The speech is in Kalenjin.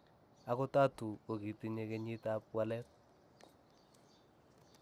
ogot Tatu, kogitinye kenyiit ap waleet